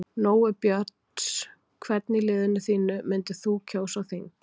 Nói Björns Hvern í liðinu þínu myndir þú kjósa á þing?